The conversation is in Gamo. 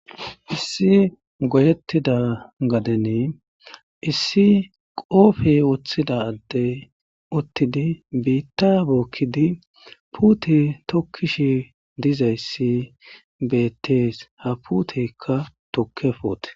issi goyettida gadene issi qoofe woththida addey uttidi biitta bookkidi puute tokkishi dizayssi beettees ha puutekka tukke poote